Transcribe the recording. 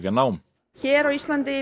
nám hér á Íslandi